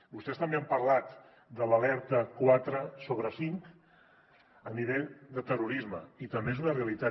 vostès també han parlat de l’alerta quatre sobre cinc a nivell de terrorisme i també és una realitat